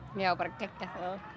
já bara geggjað